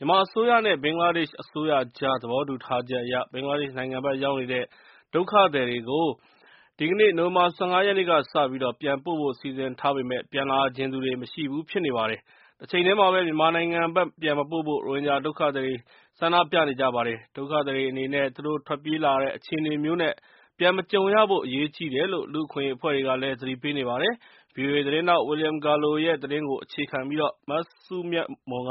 မြန်မာအစိုးရနဲ့ ဘင်္ဂလားဒေ့ရှ်အစိုးရကြား သဘောတူထားချက်အရ ဘင်္ဂလားဒေ့ရှ်နိုင်ငံဘက် ရောက်နေတဲ့ ဒုက္ခသည်တွေကို ဒီကနေ့ နိုဝင်ဘာ၁၅ ရက်နေ့ကစပြီး ပြန်ပို့ဖို့စီစဉ်ထားပေမယ့် ပြန်လာချင်သူတွေ မရှိဘူး ဖြစ်နေပါတယ်။ တချိန်တည်းမှာပဲ မြန်မာနိုင်ငံဘက် ပြန်မပို့ဖို့ ရိုဟင်ဂျာ ဒုက္ခသည်တွေ ဆန္ဒပြနေကြပါတယ်။ ဒုက္ခသည်တွေအနေနဲ့ သူတို့ထွက်ပြေးလာရတဲ့အခြေအနေမျိုး ပြန်မကြုံရဖို့အရေးကြီးတယ်လို့ လူ့အခွင့်အရေး အဖွဲ့တွေကလည်း သတိပေးနေပါတယ်။ VOA သတင်းထောက် William Gallo ရဲ့သတင်းကို အခြေခံပြီး မစုမြတ်မွန်က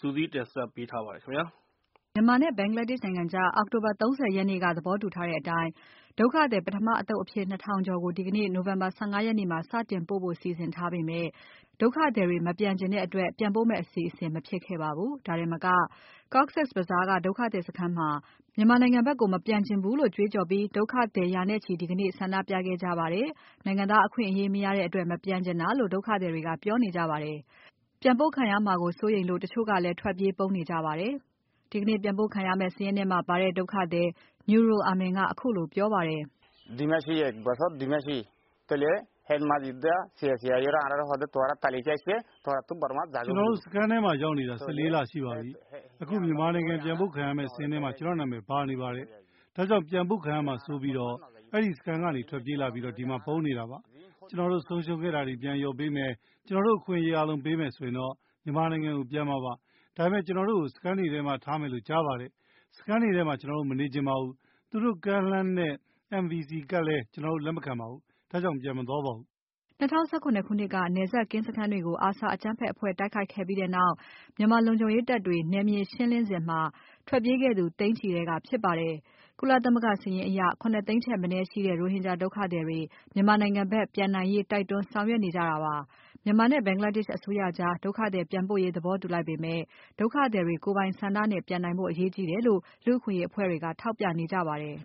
စုစည်းတင်ပြထားပါတယ်။ မြန်မာနဲ့ Bangladesh နိုင်ငံကြား အောက်တိုဘာ ၃၀ ရက်နေ့က သဘောတူထားတဲ့အတိုင်း ဒုက္ခသည်ပထမအသုတ်အဖြစ် ၂ ထောင်ကျော်ကို ဒီကနေ့ နိုဝင်ဘာ ၁၅ ရက်နေ့မှာ စတင်ပို့ဖို့ စီစဉ်ထားပေမယ့် ဒုက္ခသည်တွေ မပြန်ချင်တဲ့အတွက် ပြန်ပို့တဲ့အစီအစဉ်မဖြစ်ခဲ့ပါဘူး။ ဒါတင်မက Cox’s Bazar က ဒုက္ခသည်စခန်းမှာ မြန်မာ နိုင်ငံဘက်ကို မပြန်ချင်ဘူးလို့ ကြွေးကြော်ပြီး ဒုက္ခသည်ရာနဲ့ချီ ဒီကနေ့ ဆန္ဒပြခဲ့ကြပါတယ်။ နိုင်ငံသား အခွင့်အရေးမရတဲ့အတွက် မပြန်ချင်တာလို့ ဒုက္ခသည်တွေက ပြောနေကြပါတယ်။ ပြန်ပို့ခံရမှာ စိုးရိမ်လို့ ထွက်ပြေးပုန်းနေကြသူတွေလည်း ရှိပါတယ်။ ဒီကနေ့ပြန်ပို့ခံရမယ့်စာရင်းထဲမှာပါတဲ့ ဒုက္ခသည် Nurul Amin ကခုလိုပြောပါတယ်။ “ကျနော်တို့စခန်းထဲမှာ ရောက်နေတာ ၁၄ လရှိပါပြီ။ အခုမြန်မာနိုင်ငံပြန်ပို့ခံရမယ့်စာရင်းထဲမှာ ကျနော့် နာမည် ပါနေပါတယ်။ ဒါကြောင့် ပြန်ပို့ခံရမှာစိုးလို့ အဲဒီစခန်းကနေထွက်ပြေးလာပြီး ဒီမှာပုန်းနေတာပါ။ ကျနော်တို့ ဆုံးရှုံးခဲ့တာတွေ ပြန်လျော်ပေးမယ်။ ကျနော်တို့အခွင့်အရေး အားလုံး ပေးမယ်ဆိုရင်တော့ မြန်မာနိုင်ငံကို ပြန်မှာပါ။ ဒါပေမဲ့ ကျနော်တို့ကို စခန်းတွေထဲမှာထားမယ်လို့ ကြားပါတယ်။ စခန်းတွေထဲမှာကျနော်တို့ မနေချင်ပါဘူး။ သူတို့ကမ်းလှမ်းတဲ့ NVC ကဒ်လည်း ကျနော်တို့ လက်မခံပါဘူး။ ဒါကြောင့် ပြန်မသွားပါဘူး။” ၂၀၁၇ ခုနှစ်က နယ်စပ်ကင်းစခန်းတွေကို ARSA အကြမ်းဖက်အဖွဲ့တိုက်ခိုက်ခဲ့တဲ့နောက် မြန်မာ လုံခြုံရေး တပ် တွေ နယ်မြေရှင်းလင်းရေးလုပ်စဉ် ထွက်ပြေးခဲ့သူ သိန်းချီထဲက ဖြစ်ပါတယ်။ ကုလ သမဂ္ဂ စာရင်းအရ ၇ သိန်း ထက်မနည်းရှိတဲ့ ရိုဟင်ဂျာဒုက္ခသည်တွေ မြန်မာနိုင်ငံဘက် ပြန်နိုင်ရေး တိုက်တွန်းဆောင်ရွက် နေကြတာ ပါ။မြန်မာနဲ့ဘင်္ဂလားဒေ့ရှ်အစိုးရကြား ဒုက္ခသည်ပြန်ပို့ရေး သဘောတူ လိုက်ပေမယ့် ဒုက္ခသည်တွေ ကိုယ်ပိုင်ဆန္ဒနဲ့ ပြန်နိုင်ဖို့အရေးကြီးတယ်လို့ လူ့အခွင့်အရေး အဖွဲ့တွေက ထောက်ပြနေကြပါတယ်။ “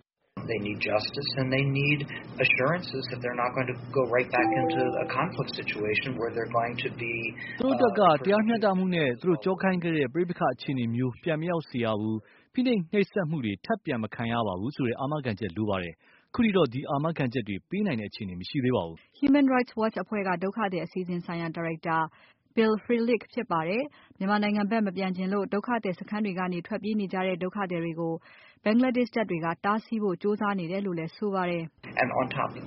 သူတို့အတွက်က တရားမျှတမှုနဲ့ သူတို့ကြောခိုင်းခဲ့တဲ့ ပဋိပက္ခအခြေအနေမျိုးပြန်မရောက်စေရဘူး။ ဖိနှိပ် နှိပ်စက်မှုတွေ ထပ်ပြန်မခံရပါဘူးဆိုတဲ့ အာမခံချက်လိုပါတယ်။ ခုထိတော့ဒီအာမခံချက်တွေ ပေးနိုင်တဲ့ အခြေအနေ မရှိသေးပါဘူး။” Human Rights Watch အဖွဲ့က ဒုက္ခသည်အစီအစဉ်ဆိုင်ရာ ဒါရိုက်တာ Bill Frelich ဖြစ်ပါတယ်။ မြန်မာနိုင်ငံ ဘက် မပြန်ချင်လို့ ဒုက္ခသည်စခန်းတွေကနေ ထွက်ပြေးနေကြတဲ့ဒုက္ခသည်တွေကို Bangladesh တပ်တွေက တားဆီးဖို့ ကြိုးစားနေကြတယ်လို့လည်း ဆိုပါတယ်။ “ဘင်္ဂလားဒေ့ရှ်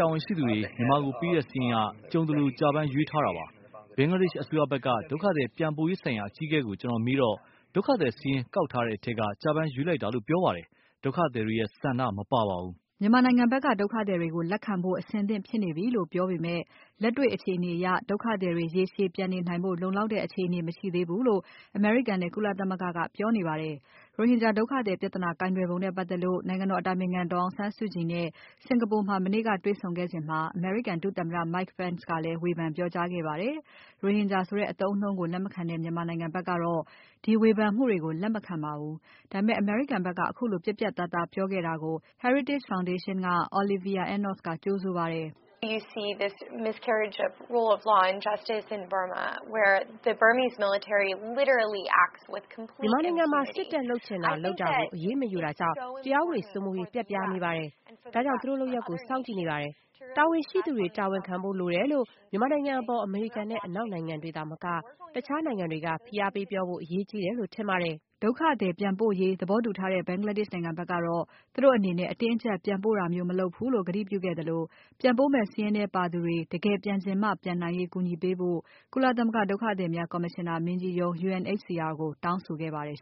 တာဝန်ရှိသူတွေ မြန်မာကိုပေးတဲ့စာရင်းက ကြုံသလို ကျပန်းရွေးထားတာပါ။ ဘင်္ဂလားဒေ့ရှ် အစိုးရဘက်က ဒုက္ခသည်ပြန်ပို့ရေးဆိုင်ရာ အကြီးအကဲကို ကျနော်မေးတော့ ဒုက္ခသည်စာရင်းကောက်ထားတဲ့ ထဲက ကျပန်းရွေးလိုက်တာလို့ ပြောပါတယ်။ ဒုက္ခသည်တွေရဲ့ဆန္ဒမပါပါဘူး။” မြန်မာနိုင်ငံဘက်က ဒုက္ခသည်တွေကိုလက်ခံဖို့ အဆင်သင့်ဖြစ်နေပြီလို့ပြောပေမယ့် လက်တေ့ွ အခြေအနေတွေ အရ ဒုက္ခသည်တွေ ရေရှည်ပြန်နေနိုင်ဖို့ လုံလောက်တဲ့အခြေအနေမရှိသေးဘူးလို့ အမေရိကန်နဲ့ ကုလသမဂ္ဂက ပြောနေပါတယ်။ ရိုဟင်ဂျာဒုက္ခသည်ပြဿနာကိုင်တွယ်ပုံနဲ့ ပတ်သက် လို့ နိုင်ငံတော်အတိုင်ပင်ခံ ဒေါ်အောင် ဆန်းစုကြည်နဲ့ စင်္ကာပူမှာမနေ့ကတေ့ွဆုံခဲ့စဉ် အမေရိကန် ဒုသမ္မတ Mike Pence က ဝေဖန်ပြောကြားခဲ့ပါတယ်။ ရိုဟင်ဂျာဆိုတဲ့အသုံးအနှုန်းကို လက်မခံတဲ့ မြန်မာဘက်ကတော့ ဒီဝေဖန်မှုတွေကို လက်မခံပါဘူး။ ဒါပေမယ့် အမေရိကန်ဘက်က ခုလို ပြတ်ပြတ်သားသား ပြောခဲ့တာကို Heritage Foundation က Olivia Enos ကကြိုဆိုပါတယ်။ “မြန်မာနိုင်ငံမှာ စစ်တပ်လုပ်ချင်တာလုပ်တာကို အရေးမယူတာကြောင့် တရားဥပဒေစိုးမိုးရေး ပျက်ပြားနေပါ တယ်။ ဒါကြောင့် သူတို့လုပ်ရပ်ကိုစောင့်ကြည့်နေတယ်။ တာဝန်ရှိသူတွေ တာဝန်ခံဖို့ လိုတယ်လို့ မြန်မာနိုင်ငံ အပေါ် အမေရိကန်နဲ့ အနောက်နိုင်ငံတွေသာမက တခြားနိုင်ငံတွေက ဖိအားပေးပြောဖို့အရေးကြီးတယ်လို့ ထင်ပါတယ်။” ဒုက္ခသည်ပြန်ပို့ရေးပြန်ပို့ရေးသဘောတူထားတဲ့ ဘင်္ဂလားဒေ့ရှ် နိုင်ငံဘက်ကတော့ သူတို့အနေနဲ့ အတင်းအကြပ် ပြန်ပို့တာမျိုးမလုပ်ဘူးလို့ ကတိပြုခဲ့သလို ပြန်ပို့မယ့်စာရင်းထဲပါသူတွေ တကယ် ပြန်ချင်မှ ပြန်နိုင်ရေး ကူညီပေးဖို့ ကုလသမဂ္ဂဒုက္ခသည်များကော်မရှင်နာမင်းကြီးရုံး UNHCR ကို တောင်းဆိုခဲ့ပါတယ်